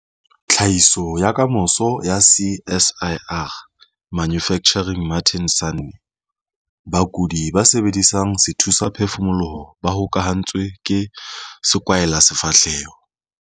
Tlhahiso ya Kamoso ya CSIR - Manufacturing Martin Sanne. Bakudi ba sebedisang sethusaphefumoloho ba hokahantswe ke sekwahelasefahleho.